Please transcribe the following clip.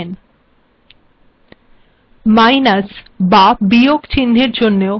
minus বাবিয়োগ চিহ্নের জন্যও আমাদের ডলার চিহ্ন ব্যবহার করতে হয়